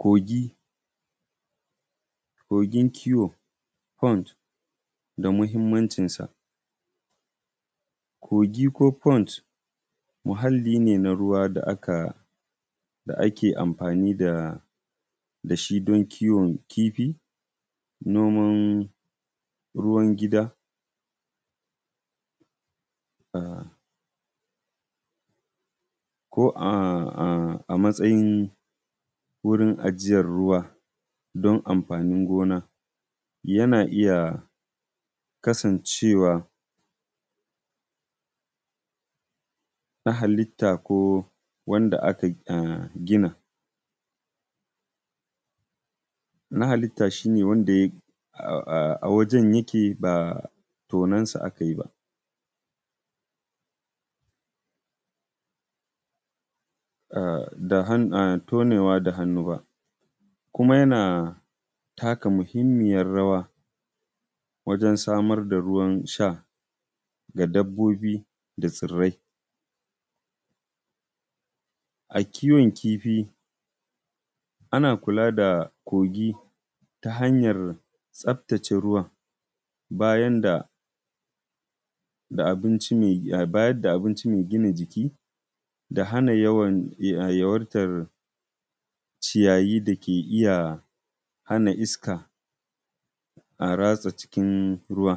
Kogi ko tabki pond da muhimmancinsa. Tabki pond wani muhimmin muhalli ne da ake amfani da shi don kiwon kifi, ajiyar ruwa da kuma noman ruwa. Tabkuna na iya kasancewa na halitta, ko waɗanda ake ginawa, wanda aka gina da hannu domin buƙatar noma ko kiwo. A yankuna da ke fama da ƙarancin ruwa tabki na taimakawa wajen adana ruwa don amfanin noma da shayar da dabbobi. A kiwon kifi ana tabbatar da cewa tabkin yana da tsafta, isashshen iska, a cikin ruwan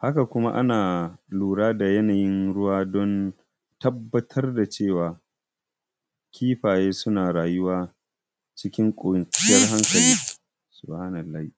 da kariya daga ƙwari ko dabbobi da ke iya cutar da kifayen. A wasu wurare ana amfani da tabkuna wajen noman shinkafa ko wasu nau’ikan tsirrai.